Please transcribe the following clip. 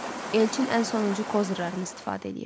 Elçin ən sonuncu kozırlarını istifadə eləyirdi.